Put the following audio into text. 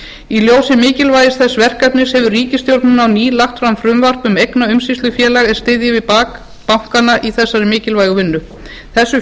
í ljósi mikilvægis þess verkefnis hefur ríkisstjórnin á ný lagt fram frumvarp um eignaumsýslufélag er styðji við bak bankanna á þessari mikilvægu vinnu þessu